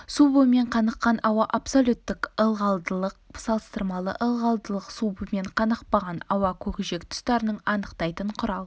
су буымен қаныққан ауа абсолюттік ылғалдылық салыстырмалы ылғалдылық су буымен қанықпаған ауа көкжиек тұстарын анықтайтын құрал